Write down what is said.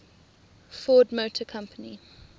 ford motor company